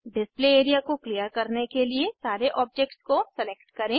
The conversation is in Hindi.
डिस्प्ले एरिया को क्लियर करने के लिए सारे ऑब्जेक्ट्स को सेलेक्ट करें